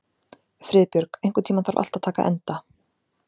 Friðbjörg, einhvern tímann þarf allt að taka enda.